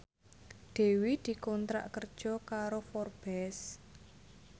Dewi dikontrak kerja karo Forbes